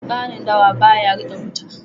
Kanun dawa ba ya riƙe wuta.